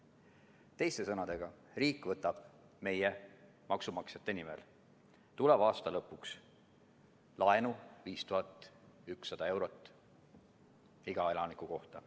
Teiste sõnadega, riik võtab meie, maksumaksjate nimel tuleva aasta lõpuks laenu 5100 eurot iga elaniku kohta.